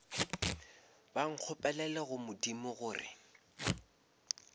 ba nkgopelele go modimo gore